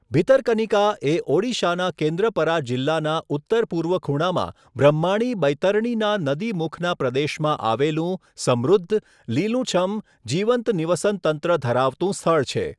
ભીતરકનિકા એ ઓડિશાના કેન્દ્રપરા જિલ્લાના ઉત્તર પૂર્વ ખૂણામાં બ્રહ્માણી બૈતરણીના નદીમુખના પ્રદેશમાં આવેલું સમૃદ્ધ, લીલુંછમ, જીવંત નિવસનતંત્ર ધરાવતું સ્થળ છે.